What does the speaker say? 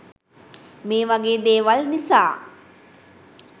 මේ වගේ දේවල් නිසා